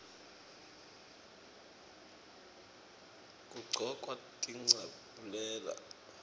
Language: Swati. kugcokwa tincabule